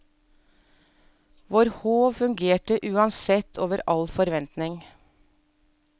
Vår håv fungerte uansett over all forventning.